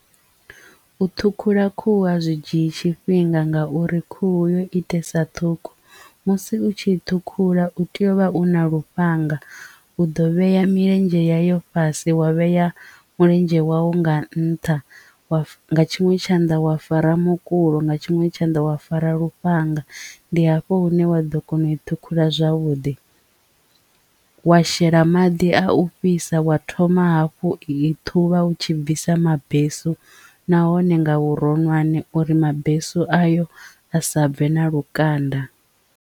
U ṱhukhula khuhu a zwi dzhii tshifhinga ngauri khuhu yo itesa ṱhukhu musi u tshi ṱhukhula u tea u vha u na lufhanga u ḓo vhea milenzhe ya yo fhasi wa vhea mulenzhe wau nga nṱha wa tshiṅwe tshanḓa wa fara mukulo nga tshiṅwe tshanḓa wa fara lufhanga ndi hafho hune wa ḓo kona u i ṱhukhula zwavhuḓi wa shela maḓi a a u fhisa wa thoma hafhu i thuvha u tshi bvisa mabesu nahone nga vhuronwane uri mabesu ayo a sa bve na lukanda.